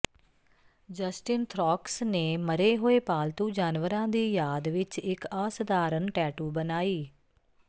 Justin Theroux ਨੇ ਮਰੇ ਹੋਏ ਪਾਲਤੂ ਜਾਨਵਰਾਂ ਦੀ ਯਾਦ ਵਿਚ ਇਕ ਅਸਧਾਰਨ ਟੈਟੂ ਬਣਾਈ